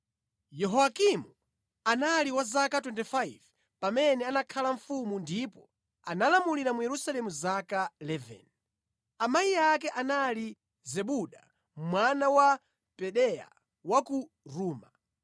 Yehoyakimu anali wa zaka 25 pamene anakhala mfumu ndipo analamulira mu Yerusalemu zaka 11. Amayi ake anali Zebuda, mwana wa Pedaya wa ku Ruma.